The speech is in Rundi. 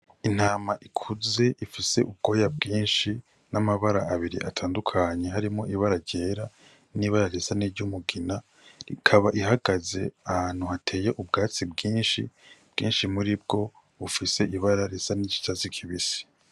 Intama ikuze ifise ubwoya bwinshi n’ amabara atandukanye harimwo ibara ryera n’ibara risa iry’umugina ikaba ihagaze ahantu hateye ubwatsi bwinshi . Bwinshi muri bwo bufise ibara risa n’icatsi kibisi.